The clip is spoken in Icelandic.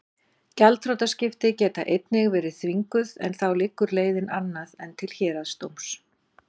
Gjaldþrotaskipti geta einnig verið þvinguð en þá liggur leiðin annað en til héraðsdóms.